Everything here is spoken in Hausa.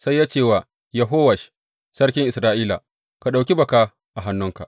Sai ya ce wa Yehowash sarkin Isra’ila, Ka ɗauki baka a hannunka.